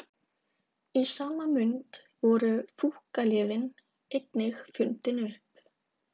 Í sama mund voru fúkkalyfin einnig fundin upp.